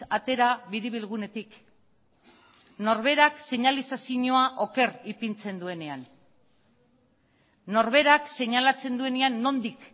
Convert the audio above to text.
atera biribilgunetik norberak seinalizazioa oker ipintzen duenean norberak seinalatzen duenean nondik